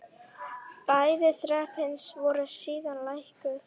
Bæði þrepin voru síðan lækkuð.